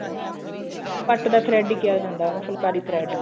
ਪੱਟ ਦਾ thread ਹੀ ਕਿਹਾ ਜਾਂਦਾ ਉਨੂੰ ਫੁਲਕਾਰੀ thread